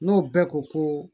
N'o bɛɛ ko ko